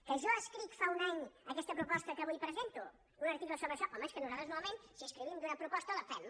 que jo escric fa un any aquesta proposta que avui presento un article sobre això home és que nosaltres normalment si escrivim d’una proposta la fem